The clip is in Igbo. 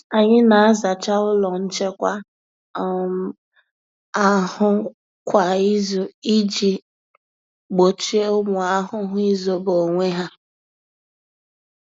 Anyị na-azacha ụlọ nchekwa um ahụ kwa izu iji gbochie ụmụ ahụhụ izobe onwe ha.